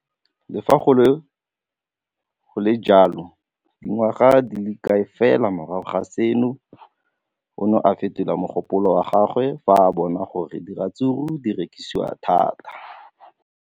Le fa go le jalo, dingwaga di se kae fela morago ga seno, o ne a fetola mogopolo wa gagwe fa a bona gore diratsuru di rekisiwa thata.